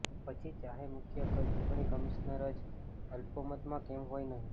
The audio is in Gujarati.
પછી ચાહે મુખ્ય ચૂંટણી કમિશનર જ અલ્પમતમાં કેમ હોય નહીં